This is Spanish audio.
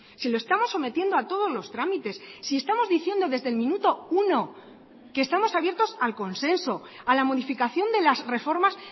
si lo estamos sometiendo a todos los trámites si estamos diciendo desde el minuto uno que estamos abiertos al consenso a la modificación de las reformas